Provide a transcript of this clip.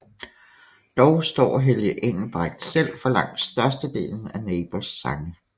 Dog står Helge Engelbrecht selv for langt størstedelen af Neighbours sange